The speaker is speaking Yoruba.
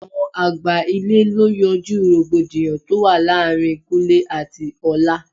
Àwọn àgbà ilé lọ yanjú rògbòdìyàn tó wà láàárín Kúnlẹ́ àti ọlá.